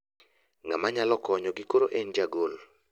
Ng'ama nyalo konyo gi koro en ja gol .